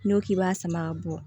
N'i ko k'i b'a sama ka bɔ